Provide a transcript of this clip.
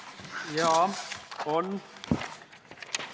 Jaa, on.